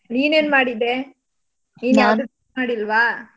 ನೀನ್ ಏನ್ ಮಾಡಿದ್ದೆ? ಮಾಡಿಲ್ವಾ?